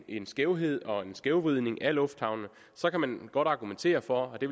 en skævhed og en skævvridning af lufthavnene så kan man godt argumentere for og det